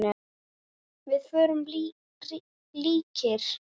Við vorum líkir.